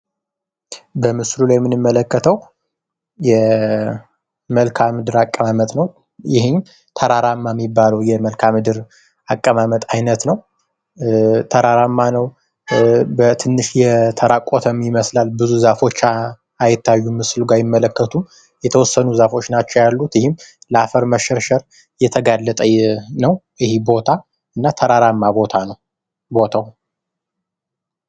በምስሉ ላይ የሚመለከተው የመልከዓ ምድር አቀማመጥ ነው ። ይህም ተራራማ የሚባለው የመልከዓ ምድር አቀማመጥ አይነት ነው ። ተራራማ ነው ፣ በትንሽ የተራቆተም ይመስላል ብዙ ዛፎች አይታዩም ምስሉ ላይ አይመለከቱም የተወሰኑ ዛፎች ነው ያሉት ይህም የአፈር መሸርሸር የተጋለጠ ነው ይሄ ቦታ እና ተራራማ ቦታ ነው ቦታው ።